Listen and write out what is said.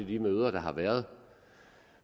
de møder der har været